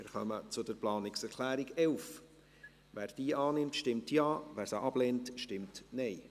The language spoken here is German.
Wer die Planungserklärung 12 der SiK annehmen will, stimmt Ja, wer diese ablehnt, stimmt Nein.